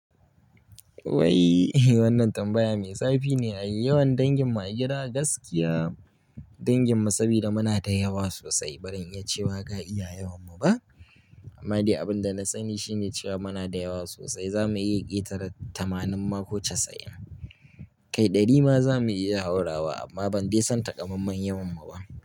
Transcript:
Wai wannan tambaya mai zafi ne ai yawan danginmu a gida? Gaskiya danginmu sabida muna da yawa sosai, baran iya cewa ga iya yawonmu ba. Amma dai abin da na sani shine cewa muna da yawa sosai. Za mu iya ƙetare tamanin ma ko casa'in. Kai ɗari ma za mu iya haurawa amma ban dai san takamammen yawanmu ba.